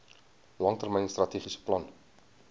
langtermyn strategiese plan